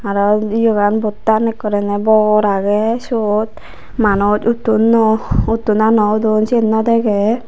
aro yegan bottan ekkoreney bor agey siyot manuj uttonnoi utton na naw udon siyen naw degey.